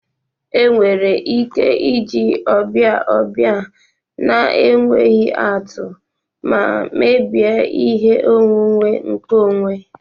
Enwere ike iji ọbịa ọbịa na-enweghị atụ ma mebie ihe onwunwe nkeonwe.